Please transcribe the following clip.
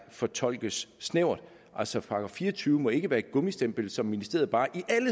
fortolkes snævert altså § fire og tyve må ikke være et gummistempel så ministeriet bare i